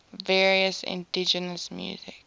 various indigenous music